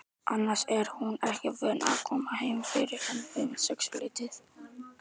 Annars er hún ekki vön að koma heim fyrr en um sexleytið.